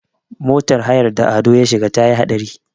motar hayar da Ado ya shiga ta yi haɗari